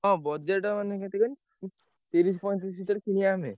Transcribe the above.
ହଁ budget ମାନେ କେତେ କହିଲୁ ତିରିଶି ପଇଁତିରିଶି ଭିତରେ କିଣିଆ ଆମେ।